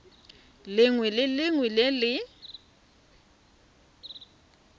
lengwe le lengwe le le